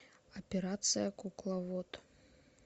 операция кукловод